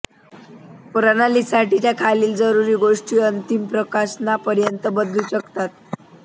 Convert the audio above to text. प्रणालीसाठीच्या खालील जरुरी गोष्टी अंतिम प्रकाशनापर्यंत बदलू शकतात